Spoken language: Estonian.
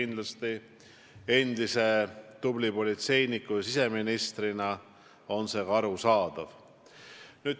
Kindlasti on see ka arusaadav, sest te olete ju endine tubli politseinik ja siseminister.